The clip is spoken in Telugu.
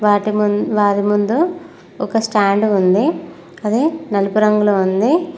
వాటి ముందు వారి ముందు ఒక స్టాండ్ ఉంది అది నలుపు రంగులో ఉంది.